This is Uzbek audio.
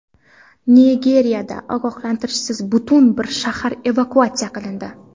Nigeriyada ogohlantirishsiz butun bir shahar evakuatsiya qilindi.